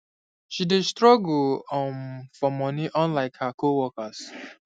she dey struggle um for money unlike her co workers